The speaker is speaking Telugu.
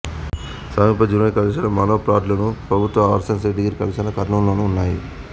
సమీప జూనియర్ కళాశాల మానోపాడ్లోను ప్రభుత్వ ఆర్ట్స్ సైన్స్ డిగ్రీ కళాశాల కర్నూలులోనూ ఉన్నాయి